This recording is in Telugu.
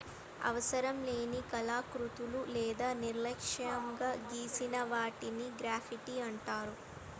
అవసరం లేని కళాకృతులు లేదా నిర్లక్ష్యంగా గీసినవాటిని గ్రాఫిటీ అంటారు